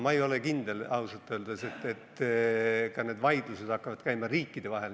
Ma ei ole ausalt öeldes kindel, et need vaidlused hakkavad käima riikide vahel.